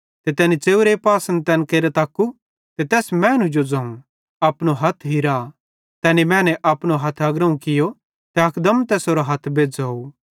ते तैनी च़ेव्रे पासना तैन केरां तक्कू ते तैस मैनू जो ज़ोवं अपनो हथ हरा तैनी मैने अपनो हथ अग्रोवं कियो त अकदम तैसेरो हथ बेज्झ़ोव